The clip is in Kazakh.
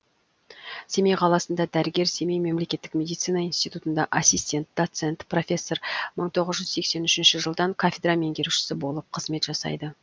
семей қаласында дәрігер семей мемлекеттік медицина институтында ассистент доцент профессор мың тоғыз жүз сексен үшінші жылдан кафедра меңгерушісі болып қызмет жасайды